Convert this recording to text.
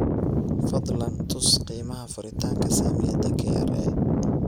fadlan tus qiimaha furitaanka saamiyada kra